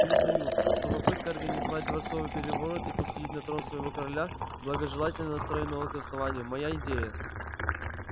признаю что попытка организовать дворцовый переворот и посадить на трон своего короля благожелательно настроенного к основанию моя идея